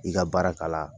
I ka baara kala